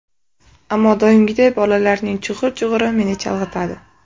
Ammo doimgiday bolalarning chug‘ur-chug‘uri meni chalg‘itadi.